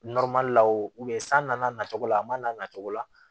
la o san nana na cogo la a man n'a nacogo la